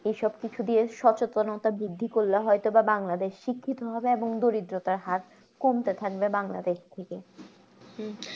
এইসব কিছু দিয়ে সচেতনতার বৃদ্ধি করলে হয়তো বা বাংলাদেশ শিক্ষিত হবে এবং দরিদ্রতার হার কমতে থাকবে বাংলাদেশ থেকে